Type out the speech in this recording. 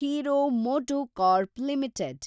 hero MotoCorp limited